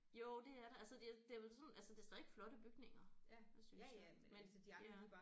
Jo det er det altså det det er jo sådan altså det er stadigvæk flotte bygninger synes jeg men ja